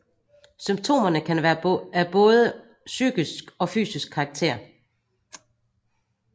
Symptomerne kan være af både psykisk og fysisk karakter